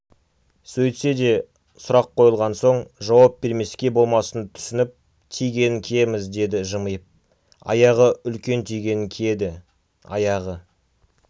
сөйтсе де сұрақ қойылған сон жауап бермеске болмасын түсініп тигенін киеміз деді жымиып аяғы үлкен тигенін киеді аяғы